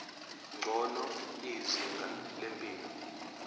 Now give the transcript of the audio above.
ngcono izinga lempilo